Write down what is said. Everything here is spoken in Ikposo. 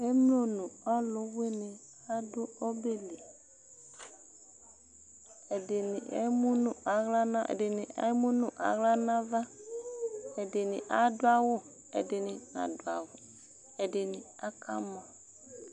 Emlo nʋ alʋwɩnɩ adʋ ɔbɛ li Ɛdɩnɩ emu nʋ aɣla nʋ a ɛdɩnɩ emu nʋ aɣla nʋ ava Ɛdɩnɩ adʋ awʋ, ɛdɩnɩ nadʋ awʋ Ɛdɩnɩ akamɔ